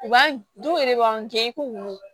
U b'an denw yɛrɛ b'an kɛ i ko